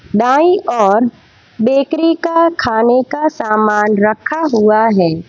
दाईं ओर बेकरी का खाने का सामान रखा हुआ है।